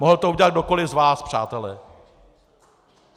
Mohl to udělat kdokoli z vás, přátelé.